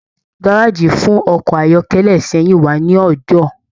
Gárájí fún ọkọ ayọkẹlẹ Ìsẹ́yìn wà ní Ọjọọ.